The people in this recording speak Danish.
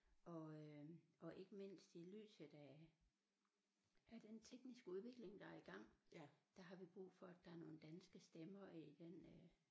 Og øh og ikke mindst i lyset af af den tekniske udvikling der er i gang der har vi brug for at der er nogle danske stemmer i den øh